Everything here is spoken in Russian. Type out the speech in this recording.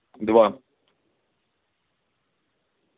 два